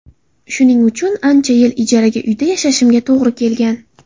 Shuning uchun ancha yil ijara uyda yashashimga to‘g‘ri kelgan.